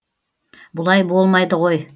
бұлай болмайды ғой